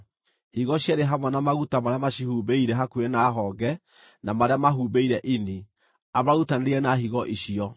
higo cierĩ hamwe na maguta marĩa macihumbĩire hakuhĩ na honge, na marĩa mahumbĩire ini, amarutanĩrie na higo icio.